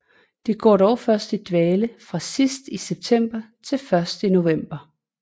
De går dog først i dvale fra sidst i september til først i november